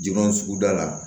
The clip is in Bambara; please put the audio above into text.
Jo suguda la